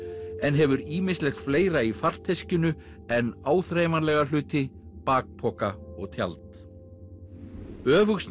en hefur ýmislegt fleira í farteskinu en áþreifanlega hluti bakpoka og tjald